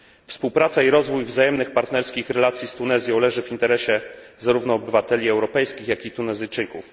Współpraca i rozwój wzajemnych partnerskich relacji z Tunezją leży w interesie zarówno obywateli europejskich, jak i Tunezyjczyków.